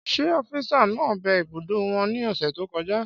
Ṣé ófisa naa bẹ ibùdó wò ní ọ̀sẹ̀ tó kọjá?